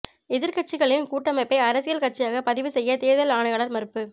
எதிர்க்கட்சிகளின் கூட்டமைப்பை அரசியல் கட்சியாக பதிவு செய்ய தேர்தல் ஆணையாளர் மறுப்பு